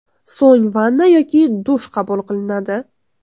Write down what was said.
So‘ng vanna yoki dush qabul qilinadi.